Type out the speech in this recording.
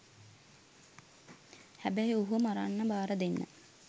හැබැයි ඔහුව මරන්න බාරදෙන්න